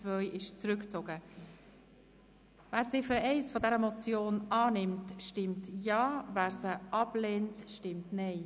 Wer die Ziffer 1 dieser Motion annimmt, stimmt Ja, wer diese ablehnt, stimmt Nein.